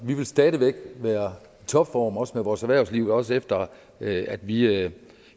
vi vil stadig væk være i topform også med vores erhvervsliv også efter at vi at vi